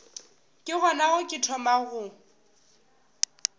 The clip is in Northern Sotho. ke gona ke thomago go